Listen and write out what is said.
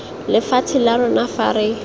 lefatshe la rona fa re